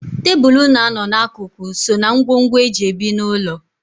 Tebụl na-anọ n'akụkụ so ná ngwongwo e ji ebi n'ụlọ.